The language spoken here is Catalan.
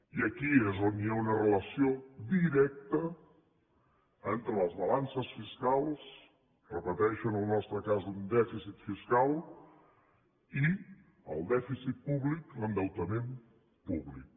i aquí és on hi ha una relació directa entre les balances fiscals ho repeteixo en el nostre cas un dèficit fiscal i el dèficit públic l’endeutament públic